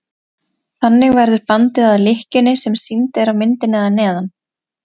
þannig verður bandið að lykkjunni sem sýnd er á myndinni að neðan